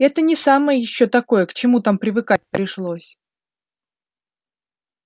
это не самое ещё такое к чему там привыкать пришлось